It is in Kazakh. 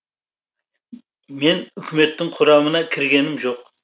мен үкіметтің құрамына кіргенім жоқ